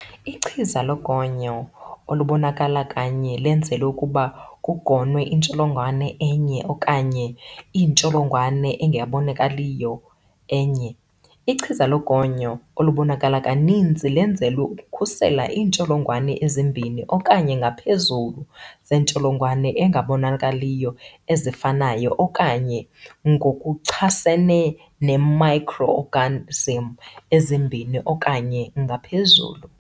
Ichiza logonyo olubonakala kanye lenzelwe ukuba kugonywe intsholongwane enye okanye intsholongwane engabonakaliyo enye. Ichiza logonyo olubonakala kaninzi lenzelwe ukukhusela iintsholongwane ezimbini okanye ngaphezulu zentsholongwane engabonakaliyo ezifanayo, okanye ngokuchasene ne-microogarnism ezimbini okanye ngaphezulu.